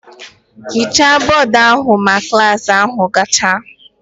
Ghichaa bọọdụ ahụ ma klas ahụ gacha!